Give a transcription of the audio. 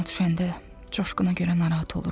Yadıma düşəndə Coşquna görə narahat oluram.